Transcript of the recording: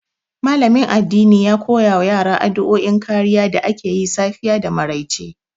Malamin addini ya koya wa yara addu'o'in kariya da ake yi safiya da maryace.